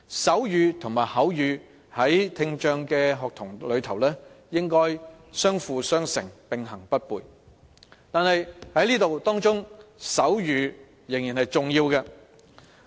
手語和口語，在聽障學童中應相輔相成、並行不悖，而手語仍是重要的。